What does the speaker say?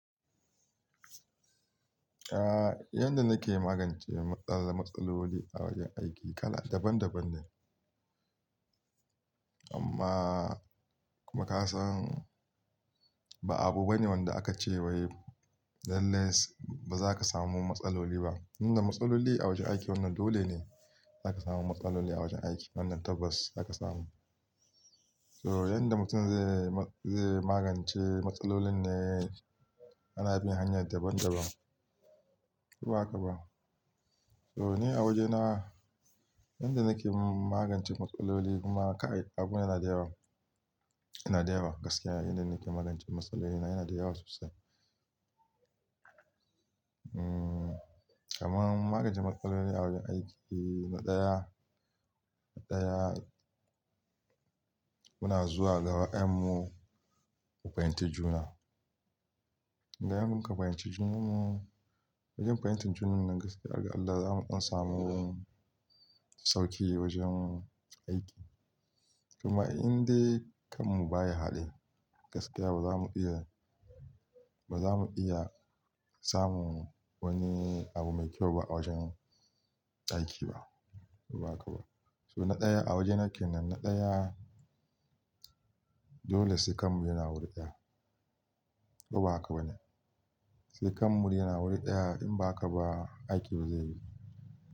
Yanda nake magance matsala, matsaloli a wajen aiki kala daban daban ne. Amma kuma ka san ba abu bane wanda aka ce wai lallai ba za ka samu matsaloli ba. Inda matsaloli a wajen aiki wanda dole ne za ka samu matsaloli a wajen aiki. Wannan tabbas za ka samu. So yanda mutum zai, zai magance matsalolin ne ana bin hanya daban daban. Ko ba haka ba? So ni a wajena yanda nake magance matsaloli kuma abu yana da yawa, yana da yawa gaskiya yanda nake magance matsaloli na yana da yawa sosai. Umm, kamar magance matsaloli a wajen aiki na ɗaya, na ɗaya muna zuwa da gaba ɗayanm mu mu fahimci juna. Idaa muka fahimci junanmu, wajen fahimtar juna nan gaskiya, Allah zamu samu sauƙi wajen aiki. Kuma indai kanmu baya haɗe gaskiya bazamu iya, bazamu iya samun wani abu mai kyau ba a wajen aiki ba. Ko ba haka ba? So na ɗaya a wajena ke nan, na ɗaya dole sai kanmu yana wuri ɗaya. Ko ba haka bane? Sai kanmu yana wuri ɗaya in ba haka ba aiki ba zai yi.